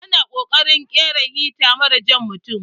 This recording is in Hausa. Ana ƙokarin ƙera hita mara jan mutun.